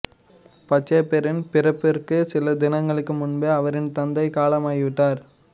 பச்சையப்பரின் பிறப்பிற்கு சில தினங்களுக்கு முன்பே அவரின் தந்தை காலமாகி விட்டார்